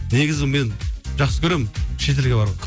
негізі мен жақсы көремін шет елге